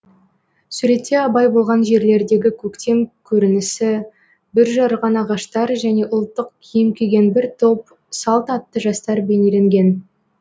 суретте абай болған жерлердегі көктем көрінісі бүр жарған ағаштар және ұлттық киім киген бір топ салт атты жастар бейнеленген